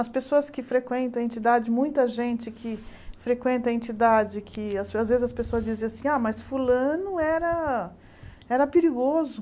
As pessoas que frequentam a entidade, muita gente que frequenta a entidade, que às vezes as pessoas dizem assim, ah, mas fulano era era perigoso.